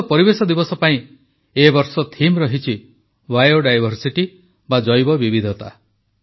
ବିଶ୍ୱ ପରିବେଶ ଦିବସ ପାଇଁ ଏ ବର୍ଷ ବିଷୟବସ୍ତୁ ରହିଛି ବିଓ ଡାଇଭର୍ସିଟି ବା ଜୈବ ବିବିଧତା